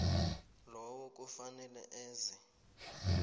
lowo kufanele eze